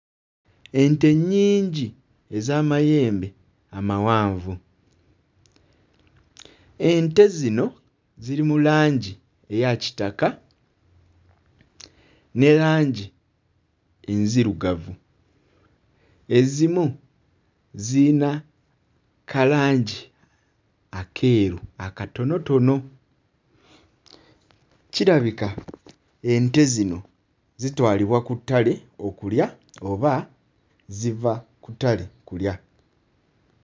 Ente nnyingi ez'amayembe amawanvu. Ente zino ziri mu langi eya kitaka ne langi enzirugavu. Ezimu ziyina kalangi akeeru akatonotono. Kirabika ente zino zitwalibwa ku ttale okulya oba ziva ku ttale kulya.